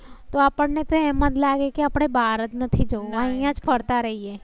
તો આપણ ને તો એમ જ લાગે કે આપ બહાર નથી જવું. અહિયાં જ ફરતા રહીએ.